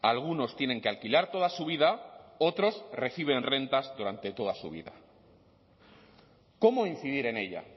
algunos tienen que alquilar toda su vida otros reciben rentas durante toda su vida cómo incidir en ella